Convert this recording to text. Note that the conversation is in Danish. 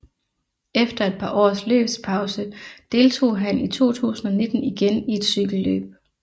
Efter et par års løbspause deltog han i 2019 igen i et cykelløb